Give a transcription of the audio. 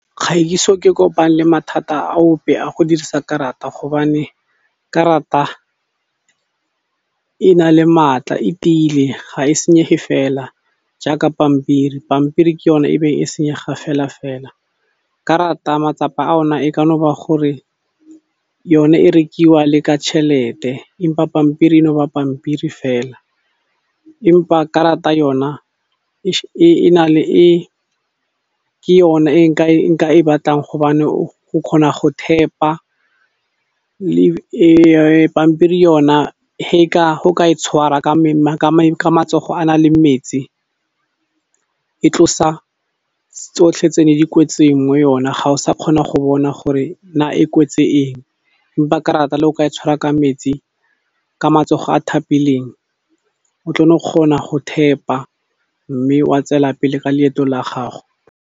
Gaeso ke kopane le mathata a ope a go dirisa karata gobane karata e na le maatla e tiile, ga e senyege fela jaaka pampiri. Pampiri ke yone e beng e senyega fela-fela, karata matsapa a ona e ka no ba gore yone e rekiwa le ka tšhelete empa pampiri e no ba pampiri fela empa karata yona ke yona e nka e batlang hobane o kgona go thepa pampiri yona ge o ka e tshwara ka matsogo a na leng metsi e tlosa tsotlhe tse ne di kwetseng mo yona ga o sa kgona go bona gore na e kwetse eng empa karata le o ka e tshwara ka metsi, ka matsogo a thapileng o tlo no kgona go thepa mme wa tswela pele ka leeto la gago.